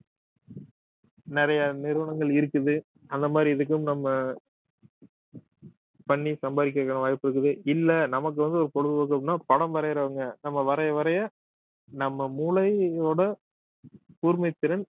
நிறைய நிறுவனங்கள் இருக்குது அந்த மாதிரி இதுக்கும் நம்ம பண்ணி சம்பாதிக்கிறதுக்கான வாய்ப்பு இருக்குது இல்லை நமக்கு வந்து ஒரு பொழுதுபோக்கு அப்படின்னா படம் வரையிறவங்க நம்ம வரைய வரைய நம்ம மூளையோட கூர்மைத்திறன்